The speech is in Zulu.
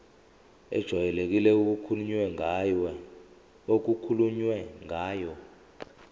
ejwayelekile okukhulunywe ngayo